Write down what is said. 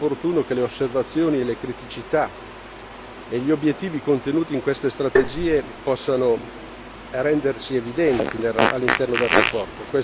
Sarebbe opportuno che le osservazioni, le criticità e gli obiettivi contenuti in queste strategie possano rendersi evidenti all'interno del rapporto.